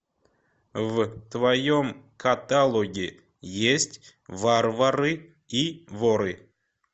в твоем каталоге есть варвары и воры